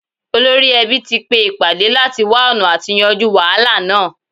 Olórí ẹbí tí pé ìpàdé láti wá ̀ọ̀nà àti yanjú wàhálà náà